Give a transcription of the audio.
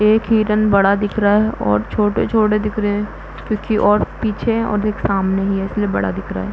एक हिरन बड़ा दिख रहा है और छोटे छोटे दिख रहे हैं क्युकी और पीछे है और एक सामने ही है इसलिए बड़ा दिख रहा है।